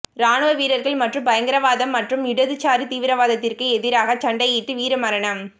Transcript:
ராணுவ வீரர்கள் மற்றும் பயங்கரவாதம் மற்றும் இடதுசாரி தீவிரவாதத்திற்கு எதிராக சண்டையிட்டு வீர மரணம்